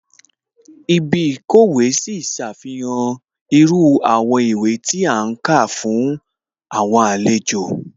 Ibí ìkówèé sí ṣàfihàn irú àwọn ìwé tí a ti ń kà fún àwọn àlejò